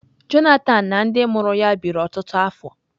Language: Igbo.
Johnathan na ndị mụrụ ya biri ọtụtụ afọ.